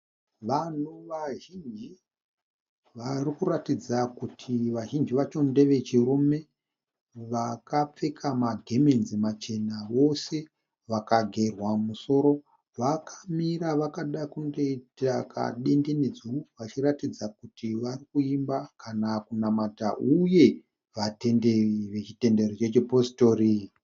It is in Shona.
Vanhu vazhinji vari kuratidza kuti vazhinji vacho ndevechirume vakapfeka magemenzi machena vose vakagerwa musoro vakamira vakada kunge kadenderedzwa vachiratidza kuti vari kuimba kana kunamata uye vatenderi vechipositori.